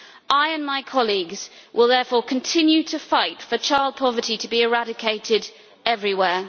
I and my colleagues will therefore continue to fight for child poverty to be eradicated everywhere.